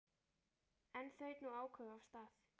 En þaut nú áköf af stað.